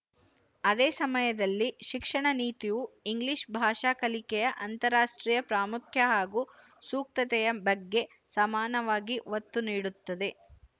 ಅದೇಸಮಯದಲ್ಲಿ ಶಿಕ್ಷಣ ನೀತಿಯು ಇಂಗ್ಲಿಶ ಭಾಷಾ ಕಲಿಕೆಯ ಅಂತಾರಾಷ್ಟ್ರೀಯ ಪ್ರಾಮುಖ್ಯ ಹಾಗೂ ಸೂಕ್ತತೆಯ ಬಗ್ಗೆ ಸಮಾನವಾಗಿ ಒತ್ತು ನೀಡುತ್ತದೆ